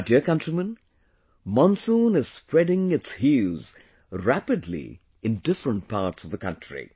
My dear countrymen, monsoon is spreading its hues rapidly in different parts of the country